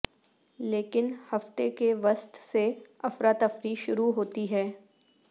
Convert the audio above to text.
لیکن ہفتے کے وسط سے افراتفری شروع ہوتا ہے